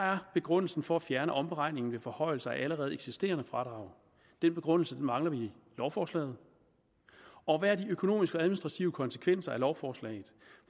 er begrundelsen for at fjerne omberegningen ved forhøjelse af allerede eksisterende fradrag den begrundelse mangler vi i lovforslaget og hvad er de økonomiske og administrative konsekvenser af lovforslaget